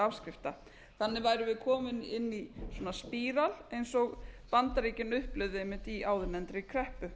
afskrifta þannig værum við komin inn í svona spíral eins og bandaríkin upplifðu einmitt í áðurnefndri kreppu